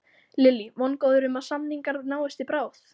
Lillý: Vongóður um að samningar náist í bráð?